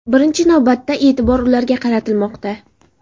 Birinchi navbatda e’tibor ularga qaratilmoqda.